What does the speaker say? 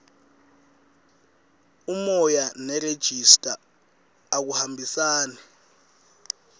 umoya nerejista akuhambisani